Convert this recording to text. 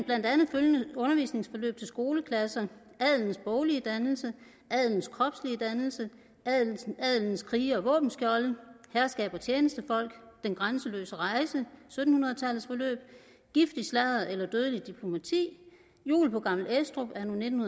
følgende undervisningsforløb til skoleklasser adelens boglige dannelse adelens kropslige dannelse adelens krige og våbenskjolde herskab og tjenestefolk den grænseløse rejse sytten hundrede tallets forløb giftig sladder eller dødeligt diplomati jul på gammel estrup anno nitten